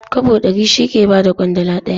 Kwabo ɗari shi ke ba da ƙwandala ɗaya.